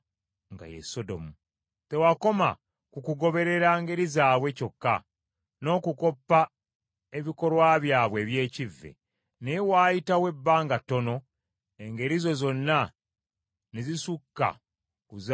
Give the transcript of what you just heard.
Tewakoma ku kugoberera ngeri zaabwe kyokka, n’okukoppa ebikolwa byabwe eby’ekivve, naye waayitawo ebbanga ttono engeri zo zonna ne zisukka ku zaabwe obubi.